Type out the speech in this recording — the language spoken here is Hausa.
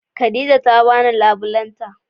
Khadijah ta bani labulen ta